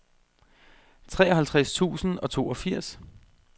treoghalvtreds tusind og toogfirs